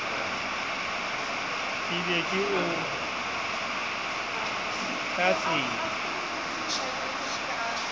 ke be ke o tlatsela